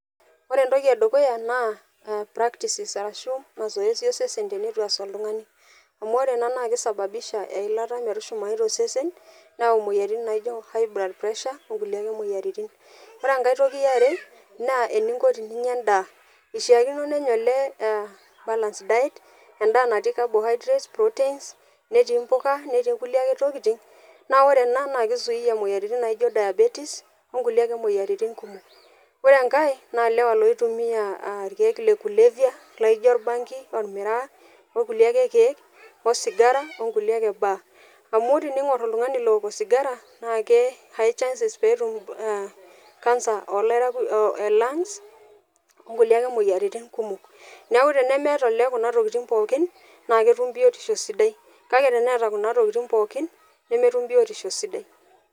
Ore entoki e dukuya naa practices arashu mazoezi osesen tenitu ees oltung'ani, amu ore ena naake isababisha eilata metushumayu to sesen neyau moyiaroitin naijo high blood pressure, o nkulie ake moyiaritin. Ore enkae toki e are naa eninko teninya endaa ishaakino nenya olee aa balance diet, endaa natii cabohydrates, proteins, netiii mpuka netii ake kulie tokitin, naa ore enaa naake izuia moyiaritin naijo diabeties o nkulie ake moyiaritin kumok. Ore enkae naa ilewa loitumia a irkeek le kulevya laijo orbangi, ormiraa, o kuie ake keek osigara o nkulie ake baa, amu teniing'or oltung'ani look osigara naake high chances peetum ee cancer e lungs o nkulie ake moyiaritin kumok. Neeku tenemeeta olee kuna tokitin pookin naake etum biotisho sidai kake teneeta kuna tokitin pookin nemetum biotisho sidai.